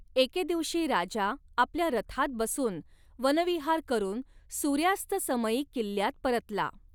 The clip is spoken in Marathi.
एके दिवशी राजा आपल्या रथात बसून वनविहार करून सूर्यास्तसमयी किल्ल्यात परतला.